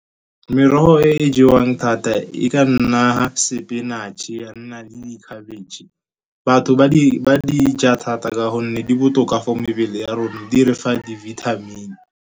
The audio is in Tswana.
Merogo e jewang thata e ka nna sepinatše, ya nna le di khabetšhe. Batho ba di dija thata ka gonne di botoka for mebele ya rona, di re fa di-vitamin-e.